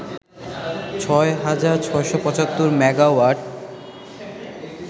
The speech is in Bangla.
৬,৬৭৫ মেগাওয়াট